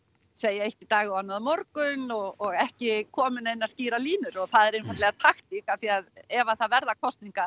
segja eitt í dag og annað á morgun og ekki koma með neinar skýrar línur og það er einfaldlega taktík af því að ef það verða kosningar